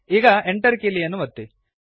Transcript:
ಈಗ Enter ಕೀಲಿಯನ್ನು ಒತ್ತಿರಿ